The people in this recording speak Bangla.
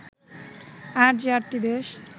আর যে আটটি দেশ